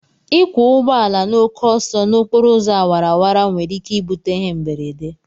Ịkwọ ụgbọala n'oke ọsọ n'okporo ụzọ awara awara nwere ike bute ịhe mberede